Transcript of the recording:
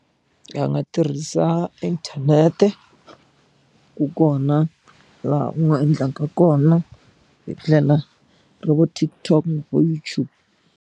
Va nga tirhisa inthanete ku kona laha u nga endlanga kona hi tlela ro vo TikTok vo YouTube.